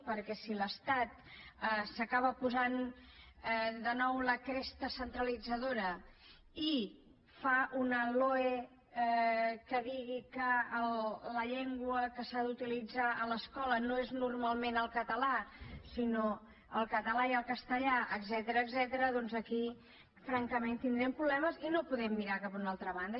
perquè si l’estat s’acaba posant de nou la cresta centralitzadora i fa una loe que digui que la llengua que s’ha d’utilitzar a l’escola no és normalment el català sinó el català i el castellà etcètera doncs aquí francament tindrem problemes i no podem mirar cap a una altra banda